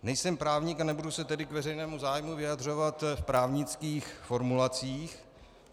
Nejsem právník a nebudu se tedy k veřejnému zájmu vyjadřovat v právnických formulacích.